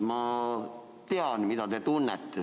Ma tean, mida te tunnete.